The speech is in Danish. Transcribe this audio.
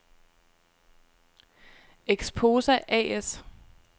Exposa A/S